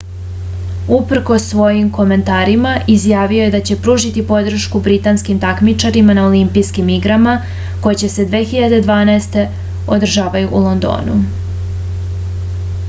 uprkos svojim komentarima izjavio je da će pružiti podršku britanskim takmičarima na olimpijskim igrama koje se 2012. održavaju u londonu